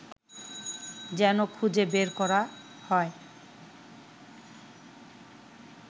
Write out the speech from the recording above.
যেন খুজে বের করা হয়